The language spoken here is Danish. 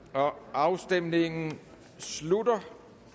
afstemningen slutter